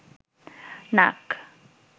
নাক